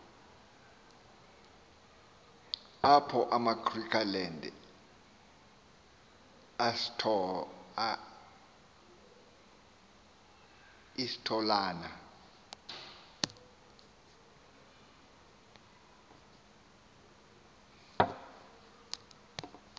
apho egriqualand eastolona